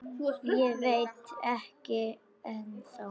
Ég veit það ekki ennþá.